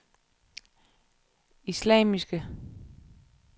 islamiske